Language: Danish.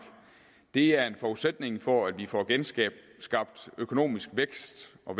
det er en forudsætning for at vi får genskabt økonomisk vækst og